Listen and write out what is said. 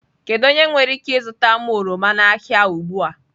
Kedu onye nwere ike zụta m oroma n'ahịa ugbu a?